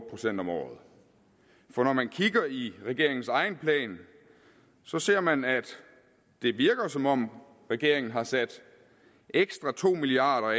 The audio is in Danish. procent om året for når man kigger i regeringens egen plan så ser man at det virker som om regeringen har sat ekstra to milliard